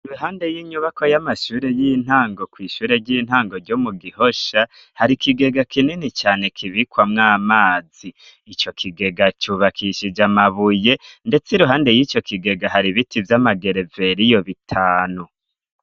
Iruhande n'inyubakwa y'amashure y'intango ku kw'ishure ry'intango ryo mu gihosha, hari ikigega kinini cane kibikwamw'amazi, ico kigega cubakishije amabuye ,ndetse iruhande y'ico kigega hari biti vy'amagereveriyo bitanu.